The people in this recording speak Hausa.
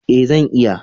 Ee, zan iya